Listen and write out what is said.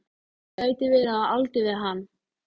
Gæti verið á aldur við hann.